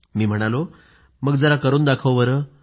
मी म्हणालो मग जरा करून दाखव बरं